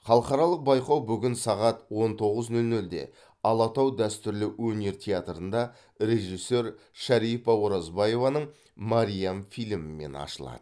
халықаралық байқау бүгін сағат он тоғыз нөл нөлде алатау дәстүрлі өнер театрында режиссер шарипа оразбаеваның мәриам фильмімен ашылады